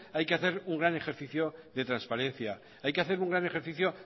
hay que hacer un gran ejercicio de transparencia hay que hacer un gran ejercicio